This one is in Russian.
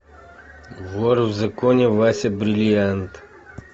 вор в законе вася бриллиант